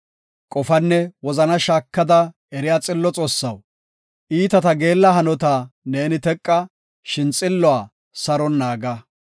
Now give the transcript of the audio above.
Qofanne wozanaa shaakada eriya xillo Xoossaw, iitata geella hanota neeni teqa; shin xilluwa saron naaga.